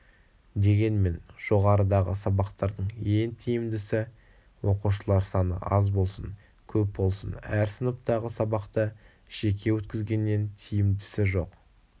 дегенмен жоғарыдағы сабақтардың ең тиімдісі оқушылар саны аз болсын көп болсын әр сыныптағы сабақты жеке өткізгеннен тиімдісі жоқ